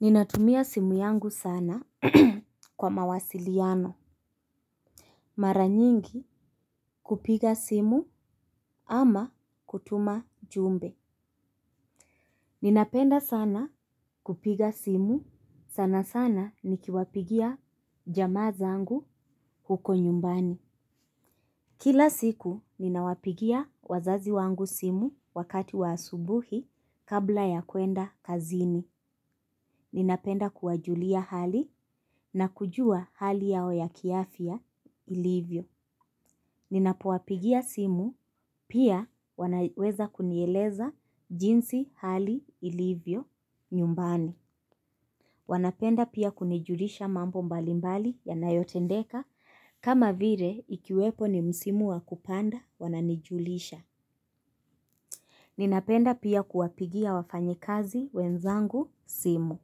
Ninatumia simu yangu sana kwa mawasiliano. Mara nyingi kupiga simu ama kutuma jumbe. Ninapenda sana kupiga simu sana sana nikiwapigia jamaa zangu huko nyumbani. Kila siku ninawapigia wazazi wangu simu wakati wa asubuhi kabla ya kuenda kazini. Ninapenda kuwajulia hali na kujua hali yao ya kiafya. Ilivyo. Ninapowapigia simu, pia wanaweza kunieleza jinsi hali ilivyo nyumbani. Wanapenda pia kunijulisha mambo mbalimbali yanayotendeka, kama vile ikiwepo ni msimu wa kupanda wananijulisha. Ninapenda pia kuwapigia wafanyi kazi wenzangu simu,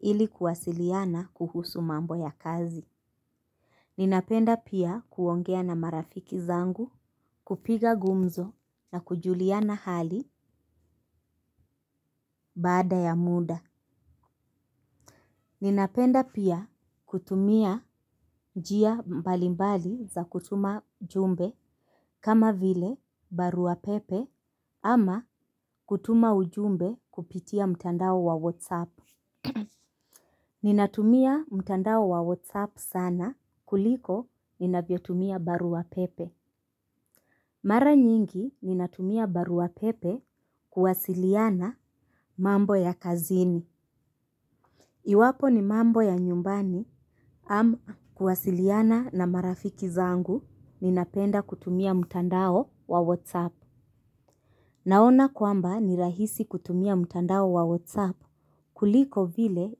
ili kuwasiliana kuhusu mambo ya kazi. Ninapenda pia kuongea na marafiki zangu, kupiga gumzo. Na kujuliana hali baada ya muda. Ninapenda pia kutumia njia mbali mbali za kutuma jumbe kama vile barua pepe ama kutuma ujumbe kupitia mtandao wa whatsapp. Ninatumia mtandao wa whatsapp sana kuliko ninavyotumia barua pepe. Mara nyingi ninatumia barua pepe kuwasiliana mambo ya kazini. Iwapo ni mambo ya nyumbani ama kuwasiliana na marafiki zangu ninapenda kutumia mtandao wa WhatsApp. Naona kwamba ni rahisi kutumia mtandao wa WhatsApp kuliko vile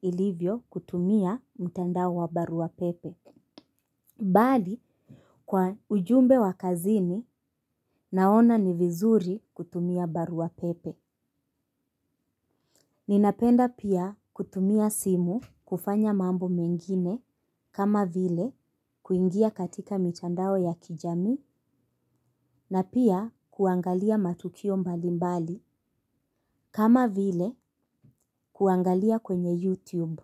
ilivyo kutumia mtandao wa barua pepe. Bali kwa ujumbe wa kazini naona ni vizuri kutumia barua pepe. Ninapenda pia kutumia simu kufanya mambo mengine kama vile kuingia katika mitandao ya kijamii na pia kuangalia matukio mbali mbali kama vile kuangalia kwenye YouTube.